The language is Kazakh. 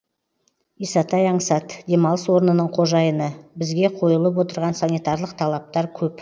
исатай аңсат демалыс орнының қожайыны бізге қойылып отырған санитарлық талаптар көп